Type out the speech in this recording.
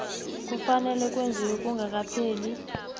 kufanele kwenziwe kungakapheli